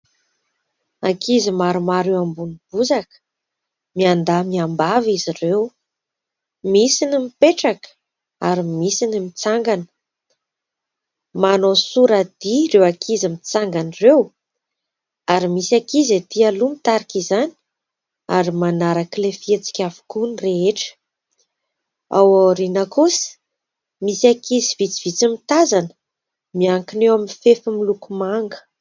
Ankizy maromaro eo ambony bozaka, miandahy, miambavy izy ireo. Misy ny mipetraka ary misy ny mitsangana. Manao soradia ireo ankizy mitsangana ireo ary misy ankizy etỳ aloha mitarika izany ary manaraka ilay fihetsika avokoa ny rehetra. Ao aoriana kosa, misy ankizy vitsivitsy mitazana, miankina eo amin'ny fefy miloko manga.